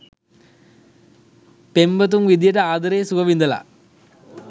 පෙම්වතුන් විදියට ආදරයේ සුව විඳලා